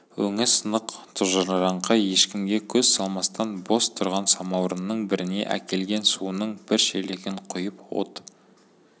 өңі сынық тұнжыраңқы ешкімге көз салмастан бос тұрған самаурынның біріне әкелген суының бір шелегін құйып от